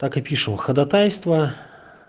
так и пишем ходатайство